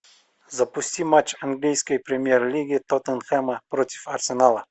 запусти матч английской премьер лиги тоттенхэма против арсенала